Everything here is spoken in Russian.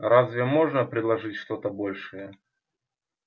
разве можно предложить что-то большее